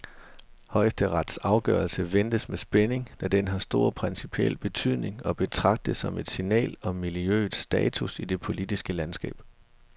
Højesterets afgørelse ventes med spænding, da den har stor principiel betydning og betragtes som et signal om miljøets status i det politiske landskab.